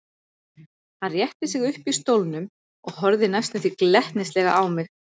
Hann rétti sig upp í stólnum og horfði næstum því glettnislega á mig.